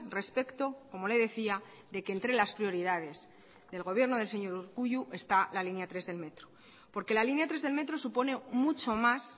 respecto como le decía de que entre las prioridades del gobierno del señor urkullu está la línea tres del metro porque la línea tres del metro supone mucho más